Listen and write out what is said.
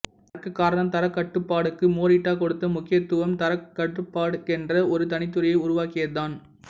அதற்கு காரணம் தரக்கட்டுபாடுக்கு மொரிட்டா கொடுத்த முக்கியத்துவமும் தரக்கட்டுப்பாடுக்கென்றே ஒரு தனித்துறையை உருவாக்கியதுதான்